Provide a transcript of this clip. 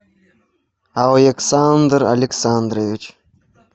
александр александрович